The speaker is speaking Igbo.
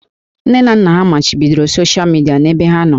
Nne na nna ha machibidoro soshịa midia n'ebe ha nọ